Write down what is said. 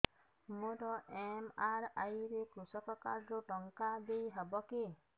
ମୋର ଏମ.ଆର.ଆଇ ରେ କୃଷକ କାର୍ଡ ରୁ ଟଙ୍କା ଦେଇ ହବ କି